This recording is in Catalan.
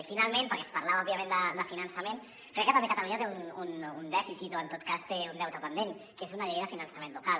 i finalment perquè es parlava òbviament de finançament crec que també catalunya té un dèficit o en tot cas té un deute pendent que és una llei de finançament local